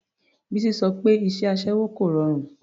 Bísí sọ pé iṣẹ́ aṣẹ́wó kò rọrùn.